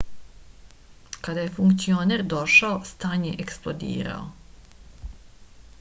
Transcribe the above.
kada je funkcioner došao stan je eksplodirao